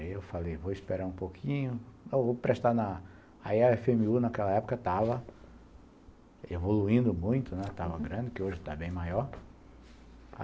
Aí eu falei, vou esperar um pouquinho, vou prestar na... Aí a efe eme u naquela época estava evoluindo muito, estava grande, né, uhum, que hoje está bem maior.